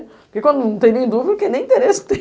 Porque quando não tem nem dúvida, é porque nem interesse tem.